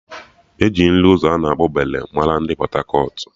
E ji nri ụzọ ana akpọ Bole mara ndị Pọt-akọt